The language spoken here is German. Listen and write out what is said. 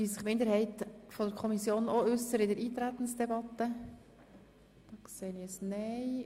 Möchte sich die Minderheit der Kommission auch in der Eintretensdebatte äussern?